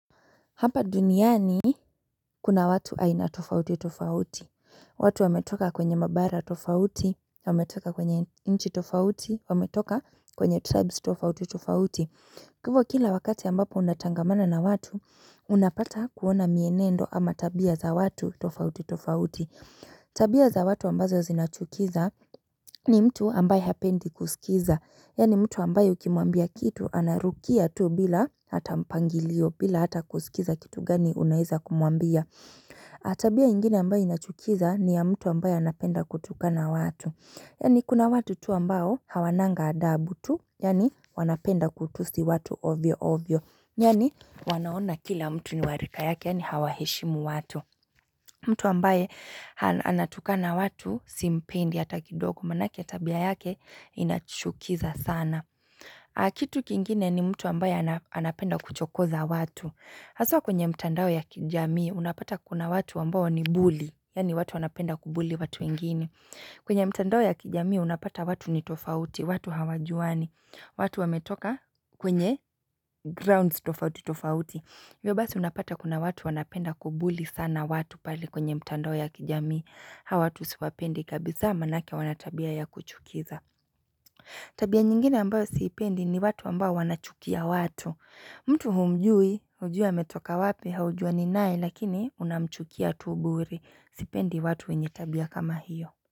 Hapa duniani kuna watu aina tofauti tofauti, watu wametoka kwenye mabara tofauti, wametoka kwenye nchi tofauti, wametoka kwenye tribes tofauti tofauti. Kivu kila wakati ambapo unatangamana na watu, unapata kuona mienendo ama tabia za watu tofauti tofauti. Tabia za watu ambazo zinachukiza ni mtu ambayo hapendi kusikiza Yaani mtu ambayo kimuambia kitu anarukia tu bila hata mpangilio bila hata kusikiza kitu gani unaiza kumuambia Tabia ingine ambayo inachukiza ni ya mtu ambayo anapenda kutuka na watu Yaani kuna watu tu ambao hawananga adabu tu yani wanapenda kutusi watu ovyo ovyo Yaani wanaona kila mtu ni warika yake yani hawahishimu watu mtu ambaye anatuka na watu simpendi hata kidogo manake tabia yake inachukiza sana. Na kitu kingine ni mtu ambaye anapenda kuchokoza watu. Haswa kwenye mtandao ya kijamii unapata kuna watu wambawa ni buli, yani watu anapenda kubuli watu ingini. Kwenye mtandao ya kijamii unapata watu ni tofauti, watu hawajuani, watu wametoka kwenye grounds tofauti tofauti. Hivyo basii unapata kuna watu wanapenda kubuli sana watu pali kwenye mtando ya kijami Hawatu siwapendi kabisa manake wanatabia ya kuchukiza Tabia nyingine ambayo sipendi ni watu ambayo wanachukia watu mtu humjui, ujua metoka wapi, haujua ninai lakini unamchukia tu bure Sipendi watu wenye tabia kama hiyo.